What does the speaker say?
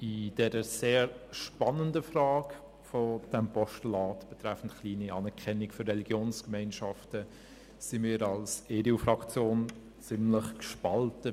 In der sehr spannenden Frage dieses Postulats betreffend die kleine Anerkennung für Religionsgemeinschaften sind wir als EDU-Faktion ziemlich gespalten.